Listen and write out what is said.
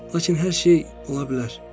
Lakin hər şey ola bilər.